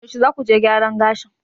yaushe za ku je gyaran gashin?